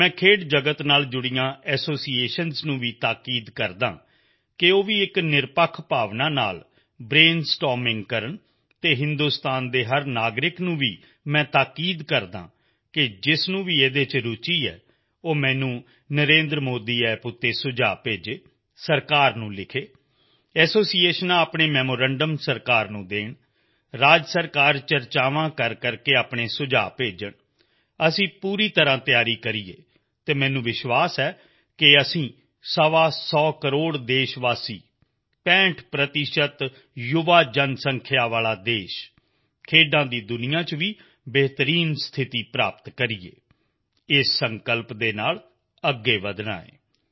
ਮੈਂ ਖੇਡ ਜਗਤ ਨਾਲ ਜੁੜੇ ਐਸੋਸੀਏਸ਼ਨ ਨੂੰ ਵੀ ਤਾਕੀਦ ਕਰਦਾ ਹਾਂ ਕਿ ਉਹ ਵੀ ਇੱਕ ਨਿਰਪੱਖ ਭਾਵ ਨਾਲ ਬ੍ਰੇਨ ਸਟੋਰਮਿੰਗ ਕਰਨ ਅਤੇ ਹਿੰਦੁਸਤਾਨ ਵਿੱਚ ਹਰ ਨਾਗਰਿਕ ਨੂੰ ਵੀ ਮੈਂ ਬੇਨਤੀ ਕਰਦਾ ਹਾਂ ਕਿ ਜਿਸ ਨੂੰ ਵੀ ਉਸ ਵਿੱਚ ਰੁਚੀ ਹੈ ਉਹ ਮੈਨੂੰ NarendraModiApp ਤੇ ਸੁਝਾਅ ਭੇਜੇ ਸਰਕਾਰ ਨੂੰ ਲਿਖੇ ਐਸੋਸੀਏਸ਼ਨ ਚਰਚਾ ਕਰਕੇ ਆਪਣਾ ਮੈਮੋਰੈਂਡਮ ਸਰਕਾਰ ਨੂੰ ਦੇਣ ਰਾਜ ਸਰਕਾਰਾਂ ਚਰਚਾ ਕਰਕੇ ਆਪਣੇ ਸੁਝਾਅ ਭੇਜਣ ਪਰ ਅਸੀਂ ਪੂਰੀ ਤਿਆਰੀ ਕਰੀਏ ਅਤੇ ਮੈਨੂੰ ਵਿਸ਼ਵਾਸ ਹੈ ਕਿ ਅਸੀਂ ਜ਼ਰੂਰ ਸਵਾ ਸੌ ਕਰੋੜ ਦੇਸ਼ਵਾਸੀ 65 ਪ੍ਰਤੀਸ਼ਤ ਨੌਜਵਾਨ ਜਨਸੰਖਿਆ ਵਾਲਾ ਦੇਸ਼ ਖੇਡਾਂ ਦੀ ਦੁਨੀਆ ਵਿੱਚ ਵੀ ਬਿਹਤਰ ਸਥਿਤੀ ਪ੍ਰਾਪਤ ਕਰੇ ਇਸ ਸੰਕਲਪ ਦੇ ਨਾਲ ਅੱਗੇ ਵਧਣਾ ਹੈ